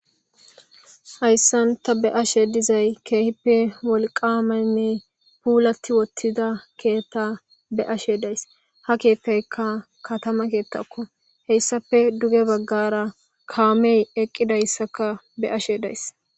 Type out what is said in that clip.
hayssanta be ashe dizay keehippe wolqaamaynne puulati wottida keetta be ashe days ha keettaykka katama keettakko heyssafe duge baggara kaamey eqqidayssaka be ashe days